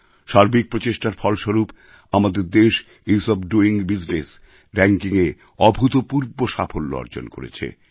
সার্বিক প্রচেষ্টার ফলস্বরূপ আমাদের দেশ ইস ওএফ ডোইং বিজনেস র্যাঙ্কিংএ অভূতপূর্ব সাফল্য অর্জন করেছে